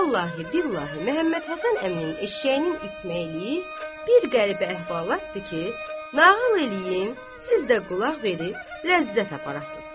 Vallahi, billahi, Məhəmmədhəsən əminin eşşəyinin itməkliyi bir qəribə əhvalatdır ki, nağıl eləyim, siz də qulaq verib ləzzət aparasız.